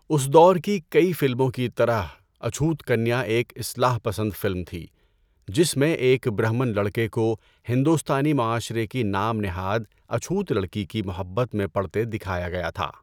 اُس دور کی کئی فلموں کی طرح، اچھوت کنیا ایک اصلاح پسند فلم تھی جس میں ایک برہمن لڑکے کو ہندوستانی معاشرے کی نام نہاد اچھوت لڑکی کی محبت میں پڑتے دکھایا گیا تھا۔